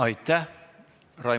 Aitäh!